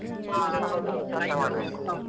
ಹಾ ಹೌದ್ ಹೌದು ಚನಾಗೇ ಮಾಡ್ಬೇಕು.